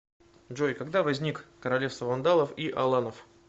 джой когда возник королевство вандалов и аланов